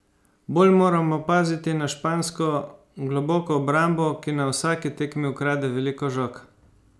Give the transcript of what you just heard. Bolj moramo paziti na špansko globoko obrambo, ki na vsaki tekmi ukrade veliko žog.